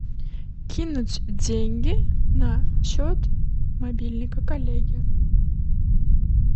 кинуть деньги на счет мобильника коллеги